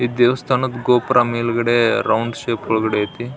ಈ ದೇವಸ್ಥಾನದ ಗೋಪುರ ಮೇಲ್ಗಡೆ ರೌಂಡ್ ಶೇಪ್ ಒಳಗಡೆ ಐತಿ.